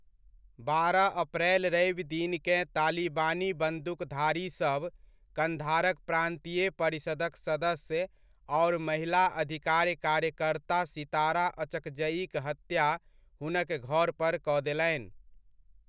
बारह अप्रैल रवि दिनकेँ तालिबानी बन्दूकधारीसभ, कन्धारक प्रान्तीय परिषदक सदस्य आओर महिला अधिकार कार्यकर्ता सितारा अचकजइक हत्या हुनक घर पर कऽ देलनि।